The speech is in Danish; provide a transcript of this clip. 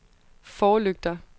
forlygter